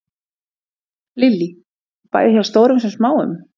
Lillý: Bæði hjá stórum sem smáum?